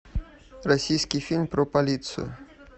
российский фильм про полицию